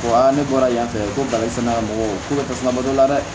ne bɔra yan fɛ ko balisinɛ ka mɔgɔw tasuma bɔ la dɛ